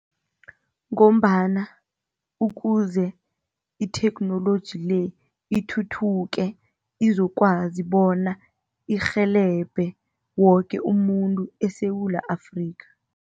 Ngombana ukuze itheknoloji le ithuthuke izokwazi bona irhelebhe woke umuntu eSewula Afrika.